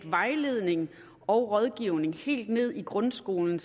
vejledning og rådgivning sted helt ned i grundskolen